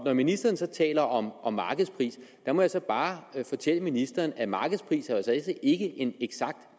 når ministeren så taler om om markedspris må jeg så bare fortælle ministeren at markedspris jo altså ikke er en eksakt